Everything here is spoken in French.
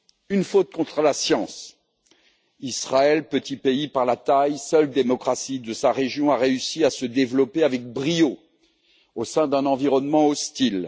Une faute contre la science Israël, petit pays par la taille, seule démocratie de sa région, a réussi à se développer avec brio au sein d'un environnement hostile.